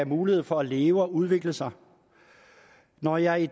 mulighed for at leve og udvikle sig når jeg